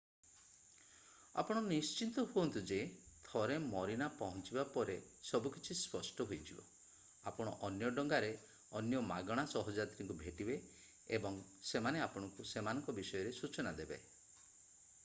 ଆପଣ ନିଶ୍ଚିତ ହୁଅନ୍ତୁ ଯେ ଥରେ ମରିନା ପହଞ୍ଚିବା ପରେ ସବୁକିଛି ସ୍ପଷ୍ଟ ହୋଇଯିବ ଆପଣ ଅନ୍ୟ ଡଙ୍ଗାରେ ଅନ୍ୟ ମାଗଣା ସହଯାତ୍ରୀଙ୍କୁ ଭେଟିବେ ଏବଂ ସେମାନେ ଆପଣଙ୍କୁ ସେମାନଙ୍କ ବିଷୟରେ ସୂଚନା ଦେବେ